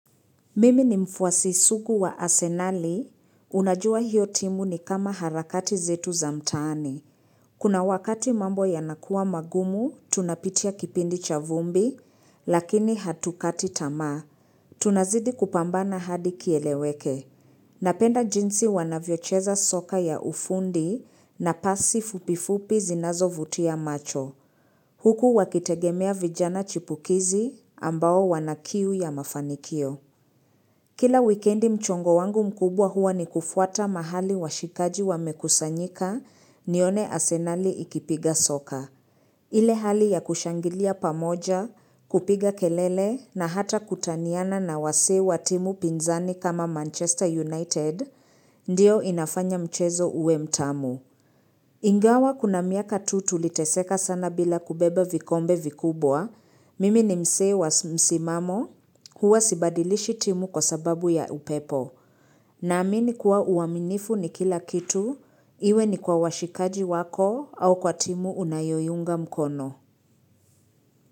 Mimi ni mfwasi sugu wa asenali, unajua hiyo timu ni kama harakati zetu za mtaani. Kuna wakati mambo yanakuwa magumu, tunapitia kipindi cha vumbi, lakini hatukati tamaa, tunazidi kupambana hadi kieleweke. Napenda jinsi wanavyocheza soka ya ufundi na pasi fupifupi zinazo vutia macho. Huku wakitegemea vijana chipukizi ambao wanakiu ya mafanikio. Kila wikendi mchongo wangu mkubwa huwa ni kufuata mahali washikaji wamekusanyika nione asenali ikipiga soka. Ile hali ya kushangilia pamoja, kupiga kelele na hata kutaniana na wase wa timu pinzani kama Manchester United, ndiyo inafanya mchezo ue mtamu. Ingawa kuna miaka tu tuliteseka sana bila kubebe vikombe vikubwa. Mimi ni msee wa msimamo. Huwa sibadilishi timu kwa sababu ya upepo. Naamini kuwa uwaminifu ni kila kitu. Iwe ni kwa washikaji wako au kwa timu unayoiunga mkono.